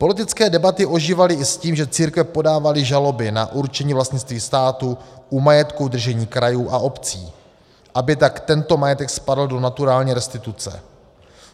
Politické debaty ožívaly i s tím, že církve podávaly žaloby na určení vlastnictví státu u majetku v držení krajů a obcí, aby tak tento majetek spadl do naturální restituce.